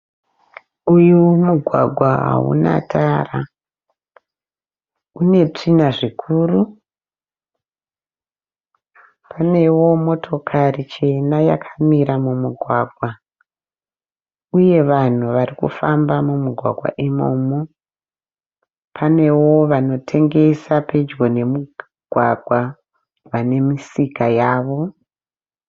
Uyu mugwagwa hauna tara unetsvina zvikuru. Unewo motokari chena yakamira mumugwagwa uye vanhu vari kufamba mumugwagwa imomo. Panewo vanokutengesa pedyo nemugwagwa vamisika yavo.